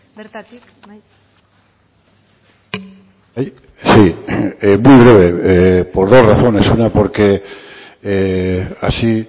bertatik bai muy breve por dos razones una porque así